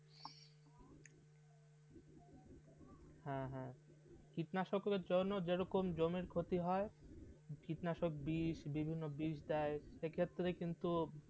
হ্যাঁ হ্যাঁ কীটনাশকের জন্য যেরকম জমির খ্যাতি হয় কীটনাশক বিশ বিভিন্ন বিষ দায় সেই ক্ষেত্রে কিন্তু